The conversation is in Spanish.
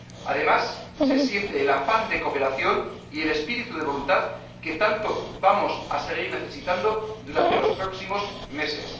Además, se siente el afán de cooperación y el espíritu de voluntad que tanto vamos a seguir necesitando durante los próximos meses.